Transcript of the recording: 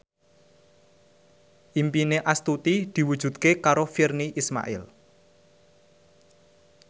impine Astuti diwujudke karo Virnie Ismail